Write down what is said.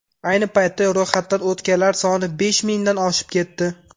Ayni paytda ro‘yxatdan o‘tganlar soni besh mingdan oshib ketdi.